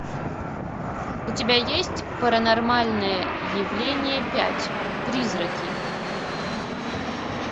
у тебя есть паранормальное явление пять призраки